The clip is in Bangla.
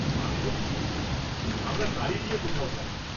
আমি বলি কি, আমরা গাড়ী নিয়ে কোথাও যাই।